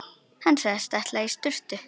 Hann sagðist ætla í sturtu.